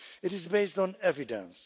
it is based on evidence.